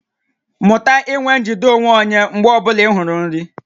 Mụta inwe njide onwe onye mgbe ọ bụla ị hụrụ nri